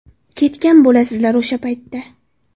Ketgan bo‘lasizlar o‘sha paytda.